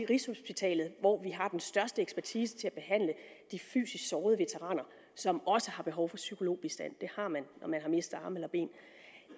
rigshospitalet hvor vi har den største ekspertise til at behandle de fysisk sårede veteraner som også har behov for psykologbistand det har man når man har mistet arme eller ben